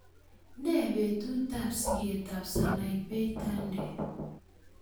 Nee betutap sigetap Sanaipei Tande